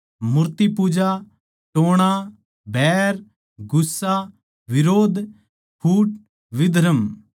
मूर्तिपूजा टोणा बैर गुस्सा बिरोध फूट विधर्म